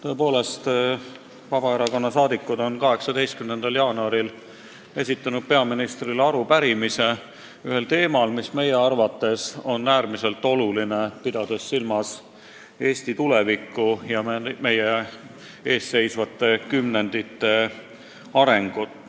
Tõepoolest, Vabaerakonna saadikud on 18. jaanuaril esitanud peaministrile arupärimise teemal, mis meie arvates on äärmiselt oluline, pidades silmas Eesti tulevikku ja arengut meie ees seisvatel kümnenditel.